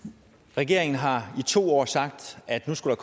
regeringen har i to år sagt at nu skulle